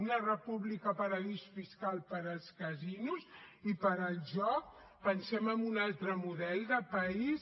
una república paradís fiscals per als casinos i per al joc pensem en un altre model de país